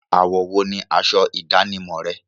Àwọ̀ wo ni asọ ìdánimọ̀ rẹ?